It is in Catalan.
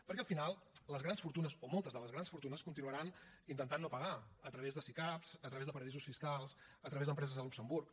perquè al final les grans fortunes o moltes de les grans fortunes continuaran intentant no pagar a través de sicav a través de paradisos fiscals a través d’empreses a luxemburg